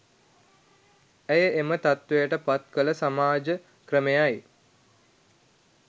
ඇය එම තත්ත්වයට පත් කළ සමාජ ක්‍රමයයි